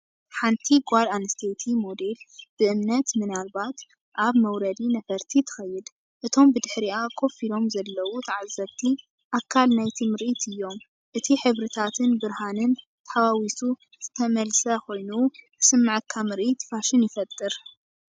ሓንቲ ጓል ኣንስተይቲ ሞዴል ብእምነት ምናልባት ኣብ መውረዲ ነፈርቲ ትኸይድ። እቶም ብድሕሪኣ ኮፍ ኢሎም ዘለዉ ተዓዘብቲ፡ ኣካል ናይቲ ምርኢት እዮም። እቲ ሕብርታትን ብርሃንን ተሓዋዊሱ ዝተመልሰ ኮይኑ ዝስምዓካ ምርኢት ፋሽን ይፈጥር።